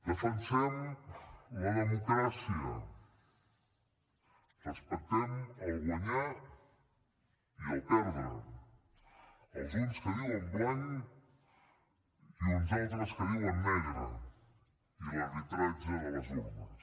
defensem la democràcia respectem guanyar i perdre els uns que diuen blanc i uns altres que diuen negre i l’arbitratge de les urnes